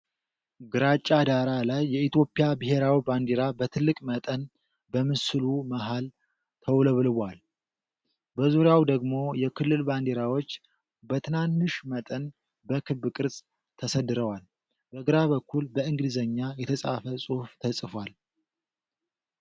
ግራጫ ዳራ ላይ፣ የኢትዮጵያ ብሔራዊ ባንዲራ በትልቅ መጠን በምስሉ መሃል ተውለብልባል። በዙሪያዋ ደግሞ የክልል ባንዲራዎች በትናንሽ መጠን በክብ ቅርጽ ተሰድረዋል። በግራ በኩል በእንግሊዝኛ የተጻፈ ጽሑፍ ተጽፏል።